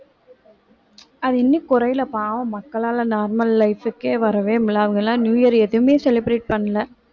அது இன்னும் குறையலை பாவம் மக்களால normal life க்கே வரவே முடியலை அவங்கலாம் நியூ இயர் எதுவுமே celebrate பண்ணலை